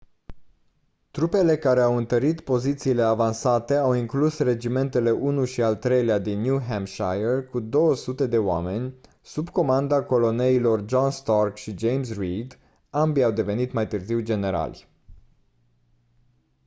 trupele care au întărit pozițiile avansate au inclus regimentele 1 și al 3 din new hampshire cu 200 de oameni sub comanda coloneilor john stark și james reed ambii au devenit mai târziu generali